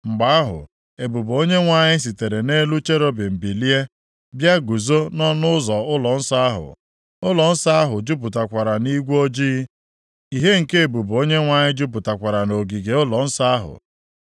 Mgbe ahụ, ebube Onyenwe anyị sitere nʼelu cherubim bilie, bịa guzo nʼọnụ ụzọ ụlọnsọ ahụ. Ụlọnsọ ahụ jupụtakwara nʼigwe ojii, ihe nke ebube Onyenwe anyị jupụtakwara nʼogige ụlọnsọ ahụ.